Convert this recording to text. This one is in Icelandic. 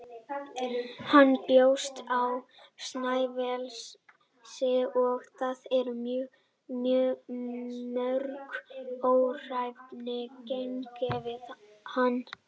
Hann bjó á Snæfellsnesi og þar eru mörg örnefni kennd við hann.